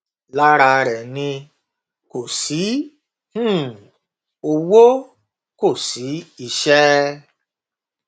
lára rẹ ni kò sí um owó kò sí iṣẹ